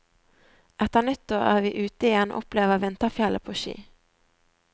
Etter nyttår er vi ute igjen og opplever vinterfjellet på ski.